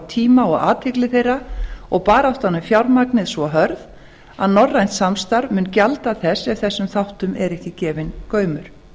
tíma og athygli þeirra og baráttan um fjármagnið svo hörð að norrænt samstarf mun gjalda þess ef þessum þáttum er ekki gefinn gaumur